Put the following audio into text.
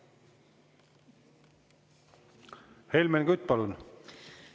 Helmen Kütt, palun!